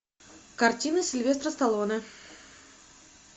картины сильвестра сталлоне